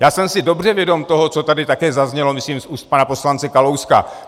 Já jsem si dobře vědom toho, co tady také zaznělo, myslím, z úst pana poslance Kalouska.